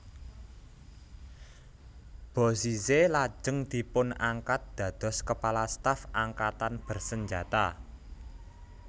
Bozizé lajeng dipunangkat dados Kepala Staf Angkatan Bersenjata